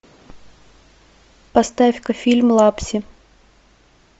поставь ка фильм лапси